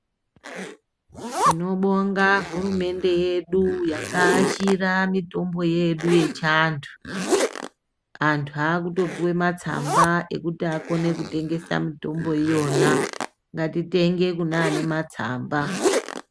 Tinobonga hurumende yedu yakaashira mitombo yedu yechiantu .Antu aakutopuwe matsamba ekuti akone kutengesa mitombo iyona. Ngatitenge kune ane matsamba.